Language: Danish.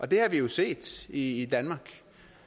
det har vi jo set i danmark